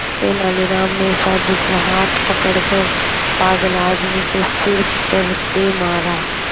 तेनालीराम ने साधु का हाथ पकड़कर पागल आदमी के सिर पर दे मारा